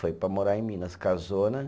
Foi para morar em Minas, casou, né?